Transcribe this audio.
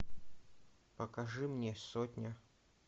покажи мне сотня